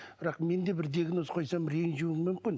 бірақ мен де бір диагноз қойсам ренжуі мүмкін